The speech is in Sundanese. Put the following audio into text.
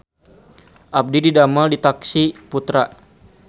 Abdi didamel di Taksi Putra